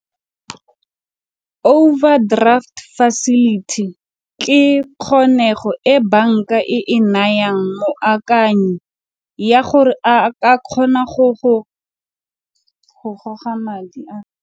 Overdraft facility ke kgonego e banka e e nayang moakanyi ya gore a ka kgona go goga madi a.